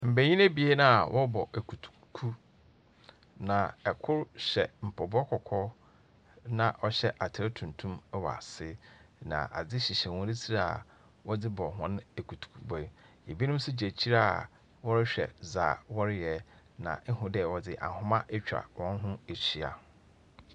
Mbanyin ebien a wɔrobɔ ekutuku, na kor hyɛ mpaboa kɔkɔɔ na ɔhyɛ atar tuntum wɔ ase, na adze hyehyɛ hɔn tsir a wɔdze bɔ hɔn ekutukubɔ yi. Binom so gyina ekyir a wɔrohwɛ dza wɔrey, na ihu dɛ wɔdze ahoma etwa hɔn ho ehyia.